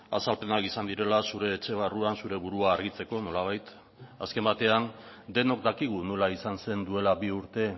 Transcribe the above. azalpenak izan direla zure etxe barruan zure burua argitzeko nolabait azken batean denok dakigu nola izan zen duela bi urte